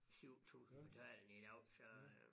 7000 betalende i dag så øh